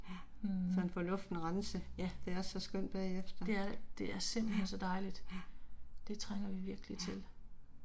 Mh. Ja. Det er det, det er simpelthen så dejligt. Det trænger vi virkelig til